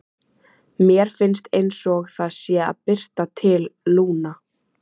Mér finnst einsog það sé að birta til, Lúna.